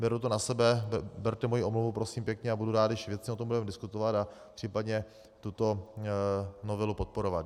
Beru to na sebe, berte moji omluvu, prosím pěkně, a budu rád, když věcně o tom budeme diskutovat a případně tuto novelu podporovat.